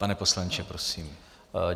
Pane poslanče, prosím.